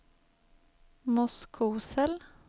Moskosel